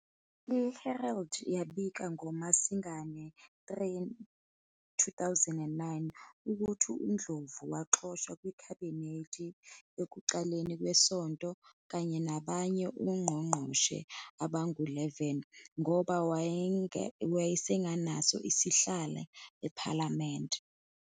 "I-Herald" yabika ngoMasingana 3, 2009, ukuthi uNdlovu waxoshwa kwiKhabhinethi ekuqaleni kwesonto, kanye nabanye ongqongqoshe abangu-11,ngoba wayengasenaso isihlalo ePhalamende.